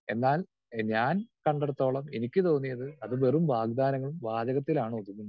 Speaker 2 എന്നാൽ ഞാൻ കണ്ടിടത്തോളം എനിക്ക് തോന്നിയത് അത് വെറും വാഗ്ദാനങ്ങൾ വാചകത്തിലാണ് ഒതുങ്ങുന്നത്.